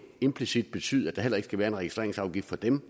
implicit betyde at der heller ikke skal være en registreringsafgift på dem